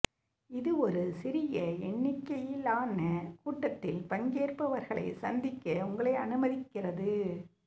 இது ஒரு சிறிய எண்ணிக்கையிலான கூட்டத்தில் பங்கேற்பவர்களை சந்திக்க உங்களை அனுமதிக்கிறது